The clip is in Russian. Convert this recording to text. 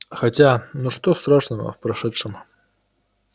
хотя ну что страшного в произошедшем